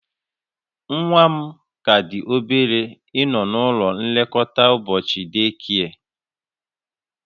Nwa m ka dị obere ịnọ n'ụlọ nlekọta ụbọchị day care